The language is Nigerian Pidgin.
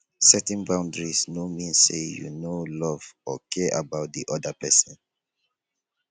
setting boundaries no mean say you no love or care about di oda pesin